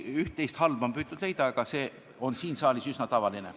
Üht-teist halba on püütud leida, aga see on siin saalis üsna tavaline.